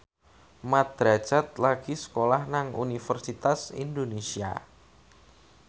Mat Drajat lagi sekolah nang Universitas Indonesia